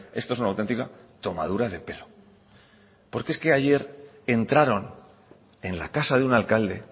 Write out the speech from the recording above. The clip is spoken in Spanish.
esto es una auténtica tomadura de pelo porque es que ayer entraron en la casa de un alcalde